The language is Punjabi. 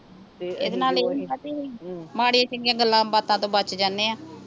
ਤੇ ਇਹਦੇ ਨਾਲ ਹੁੰਦਾ ਹਮ ਕੀ ਮਾੜੀਆਂ ਚੰਗੀਆਂ ਗੱਲਾਂ ਬਾਤਾਂ ਤੋਂ ਬਚ ਜਾਨੇ ਆਂ